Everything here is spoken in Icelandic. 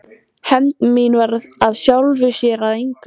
Hefnd mín varð af sjálfu sér að engu.